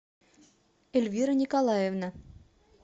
эльвира николаевна